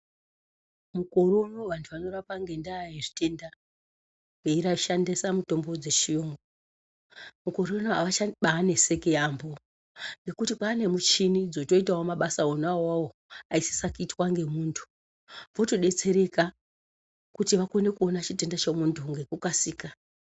Mukore unowu vantu vanorapa ngendaa yezvitenda veishandise mitombo dzechiyungu. Mukore unowu avachanetseki yaamho ngekuti kwane muchini dzotoitawo mabasa ona awawo aisisa kuitwa ngemuntu votodetsereka kuti vakone kuone chitenda chemuntu ngekukasika.